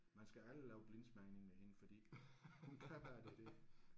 Man skal aldrig lave blindsmagning med hende fordi hun kan bare det der